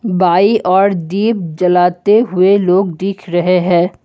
बाईं ओर दीप जलाते हुए लोग दिख रहे हैं।